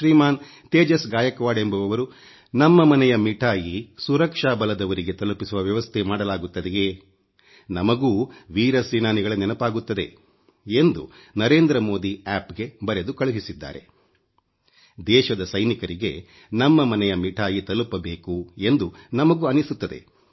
ಶ್ರೀಮಾನ್ Tejas Gaikwad ಎಂಬುವವರು ನಮ್ಮ ಮನೆಯ ಮಿಠಾಯಿ ಸುರಕ್ಷಾ ಬಲದವರಿಗೆ ತಲುಪಿಸುವ ವ್ಯವಸ್ಥೆ ಮಾಡಲಾಗುತ್ತದೆಯೇ ನಮಗೂ ವೀರ ಸೇನಾನಿಗಳ ನೆನಪಾಗುತ್ತದೆ ಎಂದು ನಮಗೂ ಅನ್ನಿಸುತ್ತದೆ